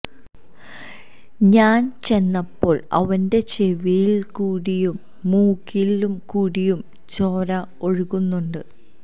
ഞാന് ചെന്നപ്പോള് അവന്റെ ചെവിയില് കൂടിയും മൂക്കില് കൂടിയും ചോര ഒഴുകുന്നുണ്ട്